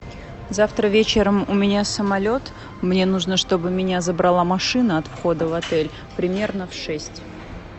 завтра вечером у меня самолет мне нужно чтобы меня забрала машина от входа в отель примерно в шесть